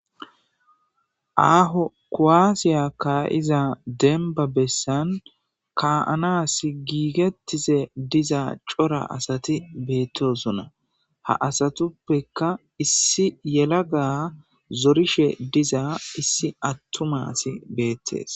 aaho kowaasiya kayiza denba bessan ka7anas giigettize diza cora asati beettosunna ha asatuppeka issi yelaga zorishe diza issi attumasi beettees